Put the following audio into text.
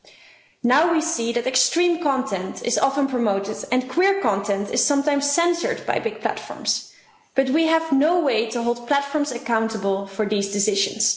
We see now that extreme content is often promoted and queer content is sometimes censored by big platforms, but we have no way of holding platforms accountable for these decisions.